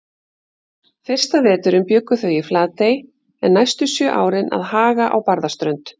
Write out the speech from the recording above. Fyrsta veturinn bjuggu þau í Flatey en næstu sjö árin að Haga á Barðaströnd.